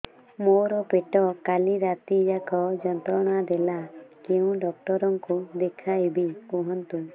ମୋର ପେଟ କାଲି ରାତି ଯାକ ଯନ୍ତ୍ରଣା ଦେଲା କେଉଁ ଡକ୍ଟର ଙ୍କୁ ଦେଖାଇବି କୁହନ୍ତ